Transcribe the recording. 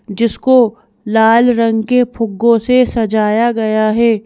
जिसको लाल रंग के फुग्गों से सजाया गया है।